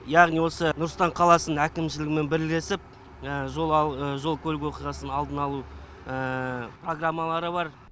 яғни осы нұр сұлтан қаласының әкімшілігімен бірлесіп жол көлік оқиғасын алдын алу программалары бар